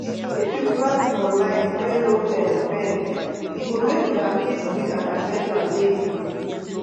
if you plant for line wey no um bend e go make una fit weed and harvest am dey easy.